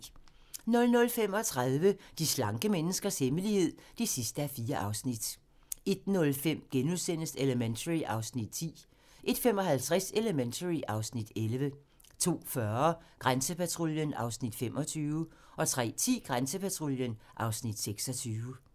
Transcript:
00:35: De slanke menneskers hemmelighed (4:4) 01:05: Elementary (Afs. 10)* 01:55: Elementary (Afs. 11) 02:40: Grænsepatruljen (Afs. 25) 03:10: Grænsepatruljen (Afs. 26)